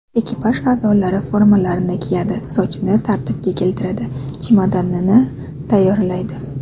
Ekipaj a’zolari formalarini kiyadi, sochini tartibga keltiradi, chemodanini tayyorlaydi.